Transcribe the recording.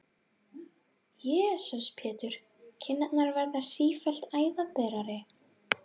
Jesús Pétur, kinnarnar verða sífellt æðaberari!